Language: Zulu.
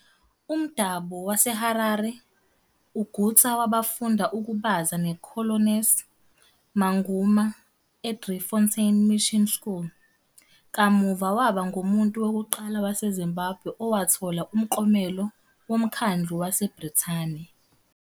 Umdabu waseHarare, uGutsa wafunda ukubaza noCornelius Manguma eDriefontein Mission School, kamuva waba ngumuntu wokuqala waseZimbabwe owathola umklomelo woMkhandlu waseBrithani.